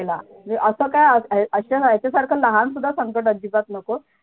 नकोच यायला अस काय लहान सुद्धा संकट अजिबात नको